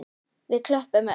Við klöppum öll.